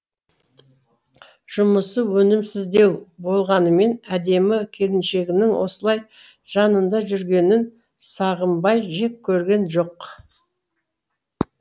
жұмысы өнімсіздеу болғанымен әдемі келіншегінің осылай жанында жүргенін сағымбай жек көрген жоқ